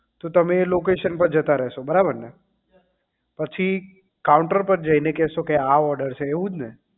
તો તમે એ location પર જતા રહેશે બરાબર ને પછી counter ઉપર જઈને કેસો કે આ order છે એવું જ ને